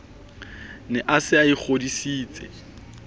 ne a se a ikgodisitse